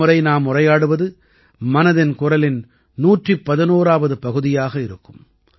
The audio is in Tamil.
அடுத்த முறை நாம் உரையாடுவது மனதின் குரலின் 111ஆவது பகுதியாக இருக்கும்